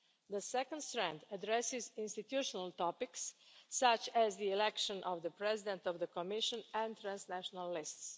The second strand addresses institutional topics such as the election of the President of the Commission and transnational lists.